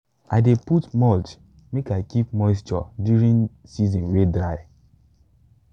i dey put mulch make i keep moisture during season way dry.